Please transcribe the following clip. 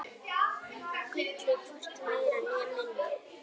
Gullið, hvorki meira né minna.